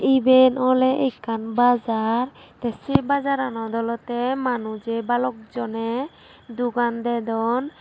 iben oley ekkan bazar tey sey bazarnot olodey manujey balok joney dogan dodon.